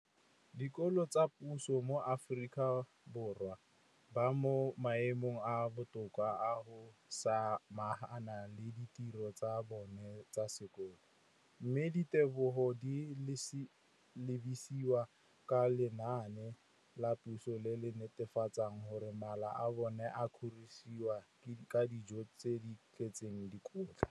Dikolo tsa puso mo Aforika Borwa ba mo maemong a a botoka a go ka samagana le ditiro tsa bona tsa sekolo, mme ditebogo di lebisiwa kwa lenaaneng la puso le le netefatsang gore mala a bona a kgorisitswe ka dijo tse di tletseng dikotla.